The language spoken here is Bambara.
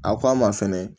A ko a ma fɛnɛ